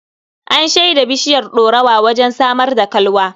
An shaida bishiyar ɗorawa wajen samar da kalwa.